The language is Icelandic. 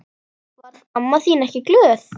Varð amma þín ekki glöð?